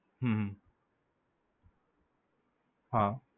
હમ હમ હા.